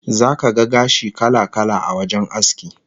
Zaka ga gashi kala-kala a wajen aski